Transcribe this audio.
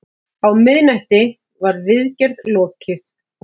Á miðnætti var viðgerð lokið.